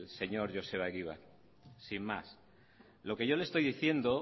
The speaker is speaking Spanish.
señor joseba egibar sin más lo que yo le estoy diciendo